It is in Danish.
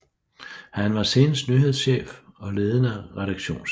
Her var han senest nyhedschef og ledende redaktionschef